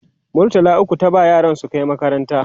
murtala ukwu ta ba yaran su Kai makaranta